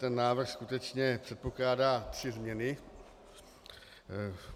Ten návrh skutečně předpokládá tři změny.